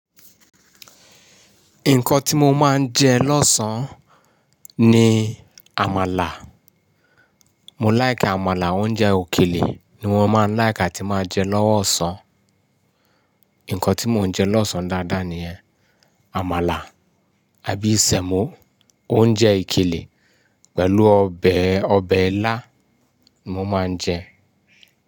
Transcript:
Nǹkan tí mo máa ń jẹ lọ́sàn-án ni àmàlà. Mo like àmàlà, awon oúnjẹ òkèlè ni wọ́n máa ń like atí máa jẹ lọ́wọ́ ọ̀sán. Nǹkan tí mo ń jẹ lọ́sàn-án dáadáa ní àmàlà àbí sẹ̀mọ. O Oúnjẹ ìkèlè pẹ̀lú ọbẹ̀ ọbẹ̀ ilá ni mo máa ń jẹ.